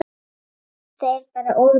Þetta er bara of lítið.